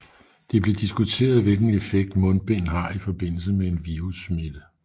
Det blev diskuteret hvilken effekt mundbind har i forbindelse med en virussmitte